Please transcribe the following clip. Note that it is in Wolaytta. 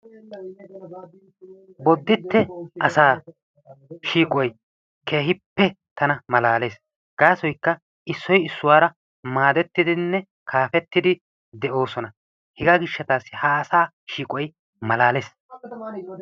Boditte asaa shiiqoy keehippe tana malalees. Gasoykka issoy issuwaara maadettinne kaafetidi de'oosona. Hegaa giishataasi ha asaa shiiqoy malaales.